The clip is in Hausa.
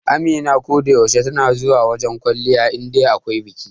Amina ko da yaushe tana zuwa wajen kwalliya indai akwai biki.